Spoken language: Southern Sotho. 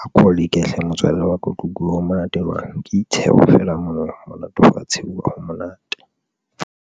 a ko leke hle motswalle wa ka otlo utlwe ho monate jwang ke ditsheho fela mono ho monate ho a tshehuwa ha monate.